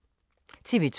TV 2